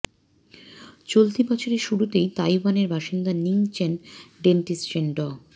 চলতি বছরের শুরুতে তাইওয়ানের বাসিন্দা নিং চেন ডেন্টিস্ট চেন ড